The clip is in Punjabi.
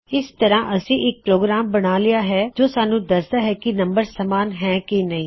ਇਸ ਤਰ੍ਹਾ ਅਸੀਂ ਇੱਕ ਪ੍ਰੋਗਰਾਮ ਬਣਾ ਲਿਆ ਹੈ ਜੋ ਸਾਨੂੰ ਦਸੱਦਾ ਹੈ ਕੀ ਦੋ ਨੰਬਰ ਸਮਾਨ ਹੈ ਕੀ ਨਹੀ